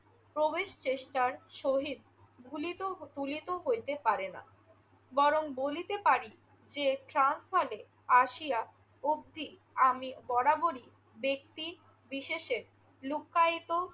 প্রবেশ চেষ্টার সহিত ভুলিত~ ভুলিত হইতে পারে না। বরং বলিতে পারি যে, ট্রান্সভালে আসিয়া অবধি আমি বরাবরই ব্যক্তি বিশেষের লুকায়িত